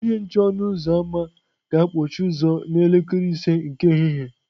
Onye nche ọnụ ụzọ ámá ga-akpọchi ụzọ n'elekere ise nke ehihie.